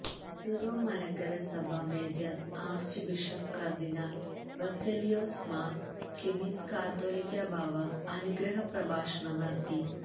Syro Malankara സഭ major archbishop cardinal Baselios Mar Cleemis കാതോലിക്കാബാവ അനുഗ്രഹപ്രഭാഷണം നടത്തി